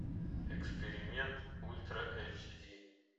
эксперимент ультра эйч ди